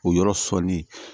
O yɔrɔ sɔnnen